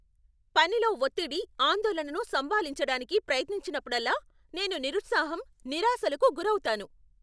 పనిలో ఒత్తిడి, ఆందోళనను సంభాళించడానికి ప్రయత్నించినప్పుడల్లా నేను నిరుత్సాహం, నిరాశలకు గురవుతాను.